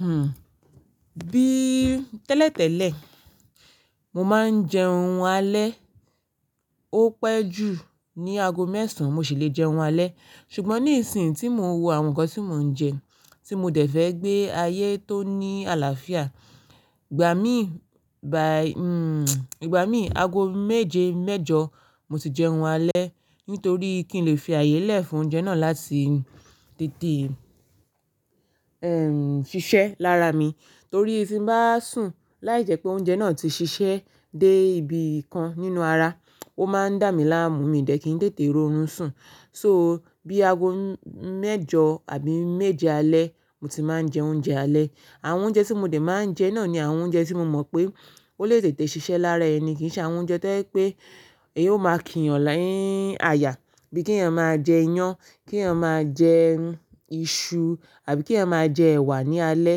Hmm, bí tẹ́lẹ̀tẹ́lẹ̀, mo máa ń jẹ ohun alẹ́. Ó pẹ́ jù, ní ago mẹ́sàn mo sì lè jẹun alẹ́. Ṣùgbọ́n níi sìn tí mo wo àwọn ǹkan tí mò ń jẹ, tí mo dẹ̀ fẹ́ gbé ayé tó ní àlàáfíà, ìgbà mí, by, hmm, ìgbà mí ago méje mẹ́jọ mo ti jẹ ohun alẹ́ nítorí kí n lè fi ààyè lẹ̀ fún oúnjẹ náà láti tètè, ẹm, ṣiṣẹ́ lára mi. Torí ti n báa sùn láìjẹ́ pé oúnjẹ náà ti ṣiṣẹ́ dé ibi kan nínú ara, ó máa ń dà mí láàmú, mi ò dẹ́ kí n tètè ro orun sùn. So bí ago mẹ́jọ àbí méje alẹ́ mo ti máa ń jẹ oúnjẹ alẹ́. Àwọn oúnjẹ tí mo dẹ̀ máa ń jẹ náà ni àwọn oúnjẹ tí mo mọ̀ pé ó lè tètè ṣiṣẹ́ lára ẹni, kì í ṣe àwọn oúnjẹ tí jẹ pé èyí ó máa kínyàn nii áyà, bí kí èèyàn máa jẹ iyán, kí èèyàn máa jẹ iṣu àbí kí èèyàn máa jẹ ẹ̀wà ní alẹ́.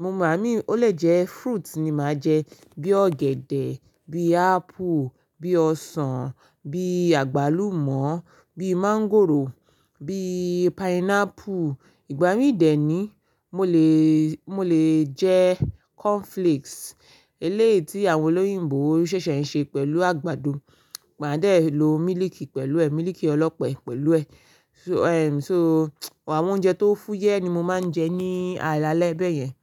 Igbamí ó lè jẹ́ fruit ni màá jẹ, bí ọ̀gẹ̀dẹ̀, bí apple, bí ọsàn, bí àgbálùmọ́, bí mọ́ńgòrò, bí pineapple. Ìgbà mí dè é ni mo lè, mo lè jẹ́ cornflakes eléyi tí àwọn olóyìnbo ṣẹ̀ṣẹ̀ ń ṣe pẹ̀lú àgbàdo. Màá dẹ̀ lo mílíìkì pẹ̀lú ẹ, mílíìkì ọlọ́pẹ pẹ̀lú ẹ. So, ẹm, so àwọn oúnjẹ tó fúyẹ́ ni mo máa ń jẹ ní alẹ́ bẹ́ẹ̀ yẹn.